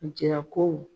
Jarako